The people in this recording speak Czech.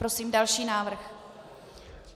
Prosím další návrh.